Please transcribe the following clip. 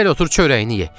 Gəl otur çörəyini ye.